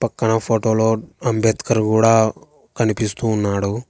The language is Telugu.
పక్కన ఫోటోలో అంబేద్కర్ కూడా కనిపిస్తూ ఉన్నాడు.